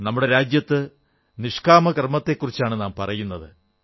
നമ്മുടെ രാജ്യത്ത് നിഷ്കാമകർമ്മത്തെക്കുറിച്ചാണ് നാം പറയുന്നത്